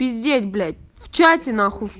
пиздеть блядь в чате на хуй